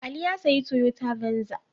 Ali ya sayi Toyota Venza.